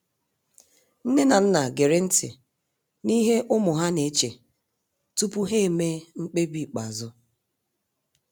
Nne na nna gere nti n'ihe ụmụ ha na-eche tupu ha emee mkpebi ikpeazụ.